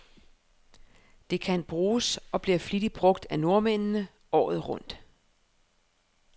Det kan bruges, og bliver flittigt brug af nordmændene, året rundt.